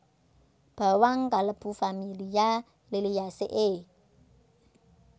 Bawang kalebu familia Liliaceae